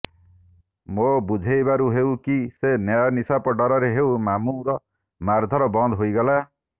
ମୋ ବୁଝେଇବାରୁ ହେଉ କି ସେ ନ୍ୟାୟ ନିଶାପ ଡରରେ ହେଉ ମାମୁଁର ମାରଧର ବନ୍ଦ ହେଇଗଲା